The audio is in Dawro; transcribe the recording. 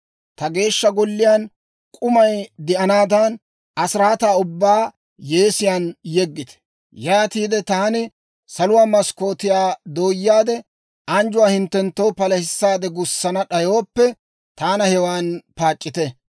Ta Geeshsha Golliyaan k'umay de'anaadan, asiraataa ubbaa yeesiyaan yeggite. Yaatiide taani saluwaa maskkootiyaa dooyaade anjjuwaa hinttenttoo palahissaade gussana d'ayooppe, taana hewan paac'c'ite.